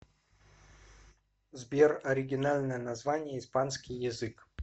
сбер оригинальное название испанский язык